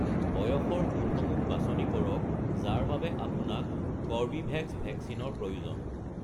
বয়সৰ গোটসমূহ বাছনি কৰক যাৰ বাবে আপোনাক কৰ্বীভেক্স ভেকচিনৰ প্ৰয়োজন।